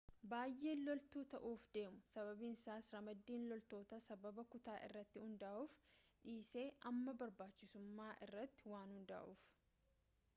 baayeen loltuu ta'uuf deemu sababniisas ramaddiin loltootaa sababa kutaa irratti hundaa'uuf dhiisee amma barbaachisummaa irratti waan hundaa'uuf